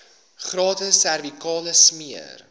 gratis servikale smere